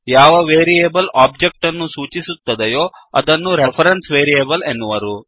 ಯಾವ variable object ಅನ್ನು ಸೂಚಿಸುತ್ತದೆಯೋ ಅದನ್ನು ರೆಫರೆನ್ಸ್ ವೇರಿಯೇಬಲ್ ಎನ್ನುವರು